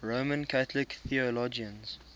roman catholic theologians